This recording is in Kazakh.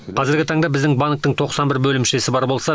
қазіргі таңда біздің банктің тоқсан бір бөлімшесі бар болса